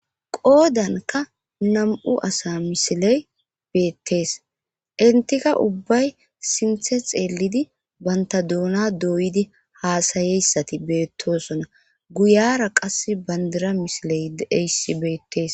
qoodanka nam7u asa misiley beettees intika ubbay sinthe xeelidi banta duuna dooyidi haasayeyssati beettosona guyara qas bandira misiley deyssi beettees